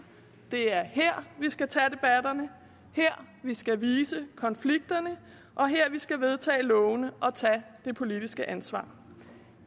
det er her vi skal tage debatterne her vi skal vise konflikterne og her vi skal vedtage lovene og tage det politiske ansvar